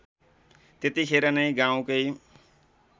त्यतिखेर नै गाउँकै